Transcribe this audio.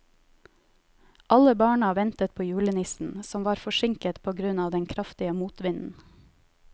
Alle barna ventet på julenissen, som var forsinket på grunn av den kraftige motvinden.